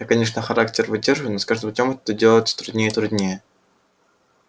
я конечно характер выдерживаю но с каждым днём это делать труднее и труднее